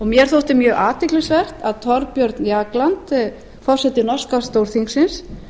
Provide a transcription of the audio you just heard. mér þótti mjög athyglisvert að thorbjörn jagland forseti norska stórþingsins